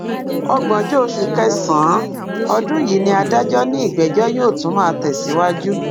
ọgbọnjọ oṣù kẹsànán ọdún yìí ni adájọ ní ìgbẹjọ yóò tún máa tẹsíwájú